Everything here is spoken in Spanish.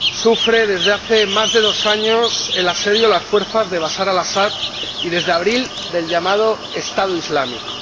sufre desde hace más de dos años el asedio de las fuerzas de Bachar el Asad y, desde abril, del llamado Estado Islámico.